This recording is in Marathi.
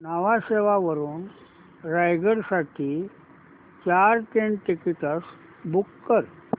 न्हावा शेवा वरून रायगड साठी चार ट्रेन टिकीट्स बुक कर